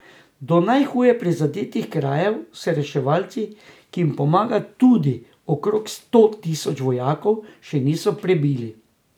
Do najhuje prizadetih krajev se reševalci, ki jim pomaga tudi okrog sto tisoč vojakov, še niso prebili.